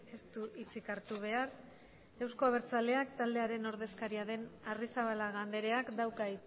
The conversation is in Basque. ez du hitzik hartu behar euzko abertzaleak taldearen ordezkaria den arrizabalaga andreak dauka